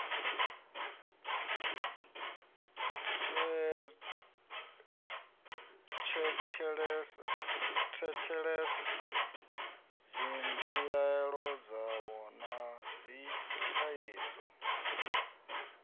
tshetshelese dzimbilaelo dzavho na dzithaidzo